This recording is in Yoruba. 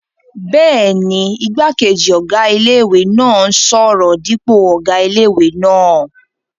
Bẹ́ẹ̀ni, igbákejì ọ̀gá ilé-ìwé náà n sọ̀rọ̀ dípò ọ̀gá ilé-ìwé náà